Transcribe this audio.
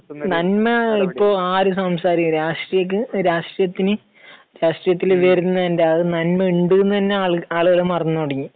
നന്മ ഇപ്പോൾ ആരും സംസാരിക്കുന്നില്ല. രാഷ്ട്രീയ, രാഷ്ട്രീയത്തിന് രാഷ്ട്രീയത്തിൽ വരുന്നതിന്റെ, അതിന് നന്മ ഉണ്ട് എന്ന് തന്നെ ആളുകൾക്ക് ആളുകൾ മറന്നു തുടങ്ങി